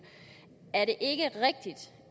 er det ikke rigtigt